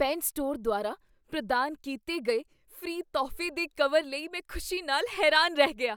Pen store ਦੁਆਰਾ ਪ੍ਰਦਾਨ ਕੀਤੇ ਗਏ ਫ੍ਰੀ ਤੋਹਫ਼ੇ ਦੇ ਕਵਰ ਲਈ ਮੈਂ ਖੁਸ਼ੀ ਨਾਲ ਹੈਰਾਨ ਰਹਿ ਗਿਆ।